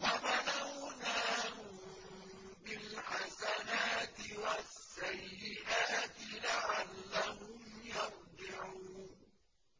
وَبَلَوْنَاهُم بِالْحَسَنَاتِ وَالسَّيِّئَاتِ لَعَلَّهُمْ يَرْجِعُونَ